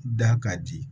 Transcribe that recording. Da ka di